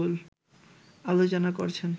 আলোচনা করছেন